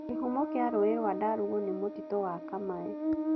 Kĩhumo kĩa rũĩ rwa Ndarugu nĩ mũtitũ wa Kamae.